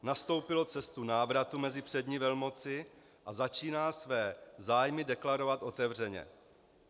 Nastoupilo cestu návratu mezi přední velmoci a začíná své zájmy deklarovat otevřeně.